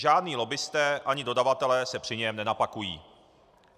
Žádní lobbisté ani dodavatelé se při něm nenapakují.